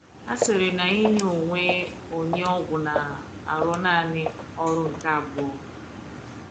A sịrị na inye onwe onye ọgwụ na - arụ naani ọrụ nke abụọ